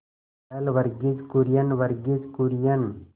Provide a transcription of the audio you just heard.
पहल वर्गीज कुरियन वर्गीज कुरियन